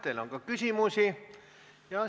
Teile on ka küsimusi.